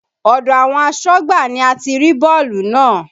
Odò àwọn asọ́gbà ni a ti rí bọ́ọ̀lù náà.